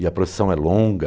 E a procissão é longa.